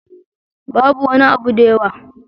Babu wani abu da yawa.